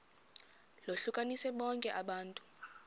lohlukanise bonke abantu